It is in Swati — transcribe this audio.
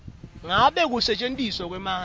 ngabe kusetjentiswa kwemandla